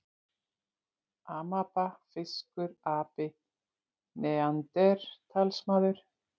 Amaba, fiskur, api, neanderdalsmaður.